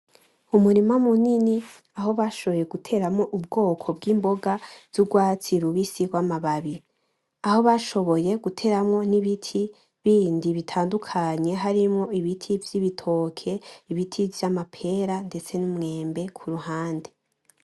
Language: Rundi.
Umurima munini aho bashoboye guteramwo ubwoko bw'imboga z'urwatsi rubise z'amababi. aho bashoboye guteramwo n'ibiti bindi bitadukanye harimwo ibiti vy'ibitoke, ibiti vy'amapera ndetse n'umwembe kuruhande.